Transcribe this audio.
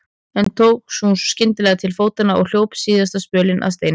En svo tók hún skyndilega til fótanna og hljóp síðasta spölinn að steininum.